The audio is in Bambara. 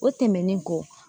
O tɛmɛnen kɔ